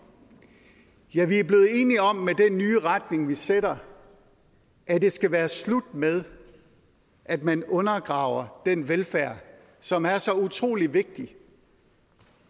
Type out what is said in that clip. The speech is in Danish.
ja vi er blevet enige om med den nye retning vi sætter at det skal være slut med at man undergraver den velfærd som er så utrolig vigtig